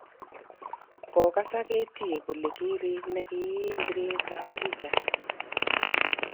Kokasak Eddie kolen karik ne kiim biret ab bicha